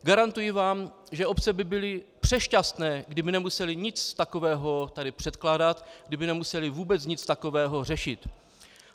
Garantuji vám, že obce by byly přešťastné, kdyby nemusely nic takového tady předkládat, kdyby nemusely vůbec nic takového řešit.